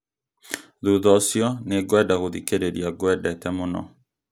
thutha ũcio nĩ ngwenda gũthikĩrĩria ngwendete mũno